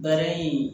Baara in